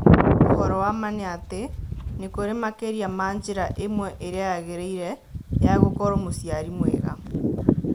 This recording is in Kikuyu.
ũhoro wa ma nĩ atĩ nĩ kũrĩ makĩria ma njĩra ĩmwe 'ĩrĩa yagĩrĩire' ya gũkorũo mũciari mwega.